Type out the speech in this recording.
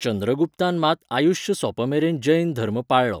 चंद्रगुप्तान मात आयुश्य सोंपमेरेन जैन धर्म पाळ्ळो